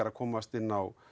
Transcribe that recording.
að komast inn á